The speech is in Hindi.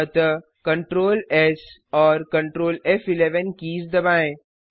अतः ctrl एस और Ctrl फ़11 कीज दबाएँ